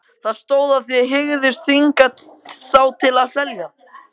Það stóð, að þið hygðust þvinga þá til að selja